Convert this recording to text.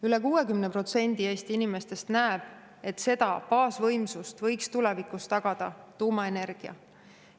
Üle 60% Eesti inimestest, et seda baasvõimsust võiks tulevikus tagada tuumaenergia.